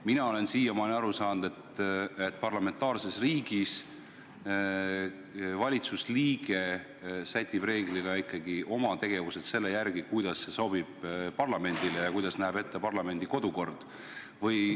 Mina olen siiamaani aru saanud, et parlamentaarses riigis sätib reeglina ikkagi valitsuse liige oma tegevused selle järgi, kuidas parlamendile sobib ja kuidas näeb ette parlamendi kodukord.